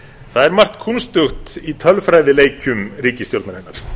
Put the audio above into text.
það er margt kúnstugt í tölfræðileikjum ríkisstjórnarinnar